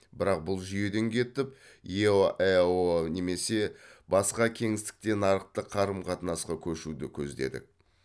бірақ бұл жүйеден кетіп еаэо немесе басқа кеңістікте нарықтық қарым қатынасқа көшуді көздедік